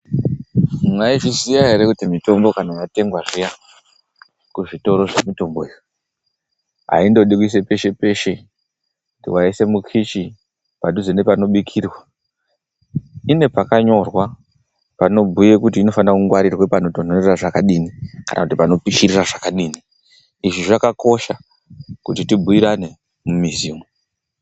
Mwaizviziya ere kuti mitombo kana yetengwa zviya kuzvitoro zvemitombo haindodi kungoiswa peshe peshe kuti waise mukichi, padhuze nepanobikirwa, ine pakanyorwa panobhuye kuti inofanirwa kungwarirwa pakatonhorera zvakadini kana kuti panopishirira zvakadini. Izvi zvakakosha kuti tibhuirane mumizi umu.